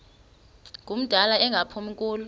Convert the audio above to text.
ngumdala engaphumi kulo